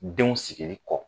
Denw sigili kɔ.